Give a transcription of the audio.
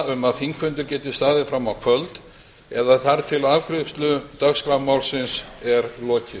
um að þingfundur geti staðið fram á kvöld eða þar til afgreiðslu dagskrármálsins er lokið